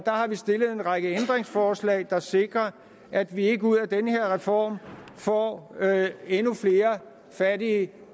har vi stillet en række ændringsforslag der sikrer at vi ikke ud af den her reform får endnu flere fattige